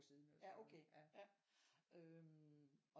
Siden eller sådan noget øh